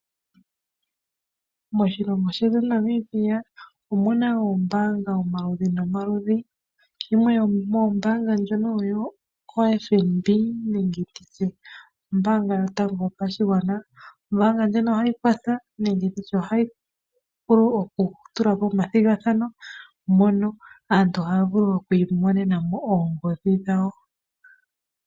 Moshilongo shetu Namibia omu na oombanga omaludhi nomaludhi. Yimwe yomoombanga ndjono oyo oFNB nenge ndi tye ombaanga yotango yopashigwana. Ombaanga ndjika ohayi kwatha nenge ndi tye ohayi vulu okutula po omathigathano mono aantu haya vulu oku imonena mo oongodhi dhawo.